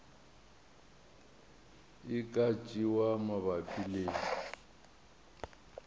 e ka tšewa mabapi le